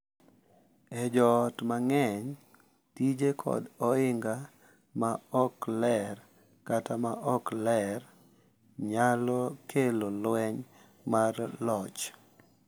E joot mang’eny, tije kod ohinga ma ok ler kata ma ok ler nyalo kelo lweny mar loch,